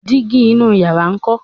dígí inú yàrá nkọ?